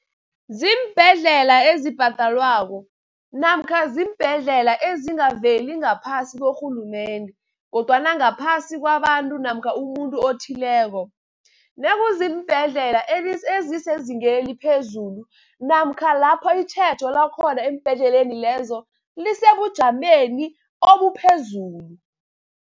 Ziimbhedlela ezibhadalwako namkha ziimbhedlela ezingaveli ngaphasi korhulumende, kodwana ngaphasi kwabantu namkha umuntu othileko. Nakuziimbhedlela ezisezingeni eliphezulu namkha lapho itjhejo lakhona embhedleleni lezo lisebujameni obuphezulu.